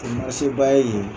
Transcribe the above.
O ye ba ye yen..